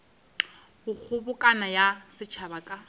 go kgobokano ya setšhaba ka